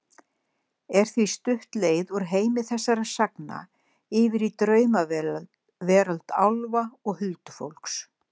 Er því stutt leið úr heimi þessara sagna yfir í draumaveröld álfa og huldufólks.